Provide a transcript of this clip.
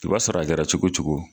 I b'a sɔrɔ a kɛra cogo cogo